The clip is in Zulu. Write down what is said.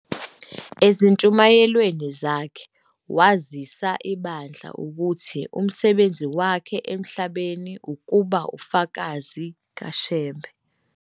Ezintshumayelweni zakhe wazisa ibandla ukuthi umsebenzi wakhe emhlabeni ukuba ufakazi kaShembe.